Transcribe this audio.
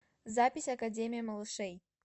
запись академия малышей